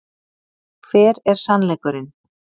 Hver er SANNLEIKURINN?